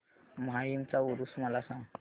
माहीमचा ऊरुस मला सांग